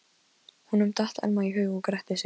Honum datt Elma í hug og gretti sig.